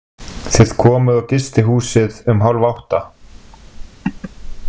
Þið komuð á gistihúsið um hálfátta.